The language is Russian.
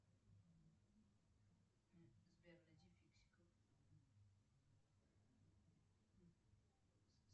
сбер найди фиксиков